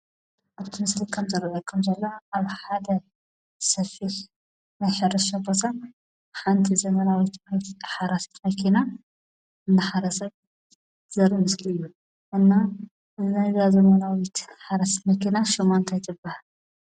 ኣብቲ ምስሊ ከም ዘረለቶም ዘለ ኣብ ሓደ ሰፊሕ ናይሕረስሻ ቦሳን ሓንቲ ዘመናዊት ይት ሓራስት መኪና እተሓረሰት ዘር ምስኪ እዩ እና እዘዘዛ ዘመናዊት ሓረስት መኪና ሹማንታ ይትብሐ።